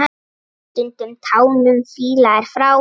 Stundum tánum fýla er frá.